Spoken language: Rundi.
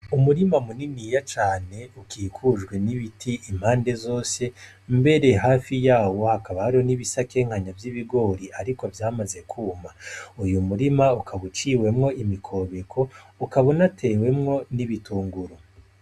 Umurima munini iya cane ukikujwe n'ibiti impande zose mbere hafi yawo hakabaro n'ibisakenkanya vy'ibigori, ariko vyamaze kwuma uyu murima ukaguciwemwo imikobeko ukabona atewemwo n'ibitunguru.